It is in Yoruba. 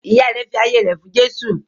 Ìyá rẹ̀ fi ayé rẹ̀ fún Jésù.